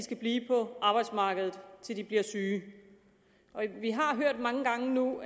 blive på arbejdsmarkedet til de bliver syge vi har mange gange nu